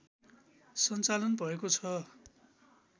सञ्चालन भएको छ